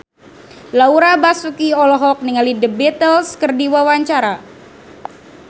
Laura Basuki olohok ningali The Beatles keur diwawancara